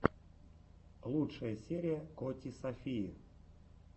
лучшая серия коти софии